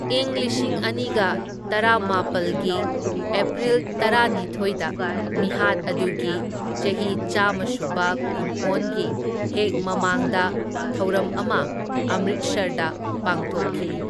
ꯢꯪ ꯂꯤꯁꯤꯡ ꯑꯅꯤꯒ ꯇꯔꯥꯃꯥꯄꯜꯒꯤ ꯑꯦꯄ꯭ꯔꯤꯜ ꯇꯔꯥꯅꯤꯊꯤꯢꯗ ꯃꯤꯍꯥꯠ ꯑꯗꯨꯒꯤ ꯆꯍꯤ ꯆꯥꯝꯃꯥꯁꯨꯕ ꯀꯨꯝꯑꯣꯟꯒꯤ ꯍꯦꯛ ꯃꯃꯥꯡꯗ ꯊꯧꯔꯝ ꯑꯃ ꯑꯝꯔꯤꯠꯁꯔꯗ ꯄꯥꯡꯊꯣꯛꯈꯤ꯫